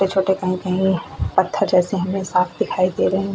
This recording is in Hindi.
छोटे कहीं कहीं पत्थर जैसे हमें साफ दिखाई दे रहे हैं --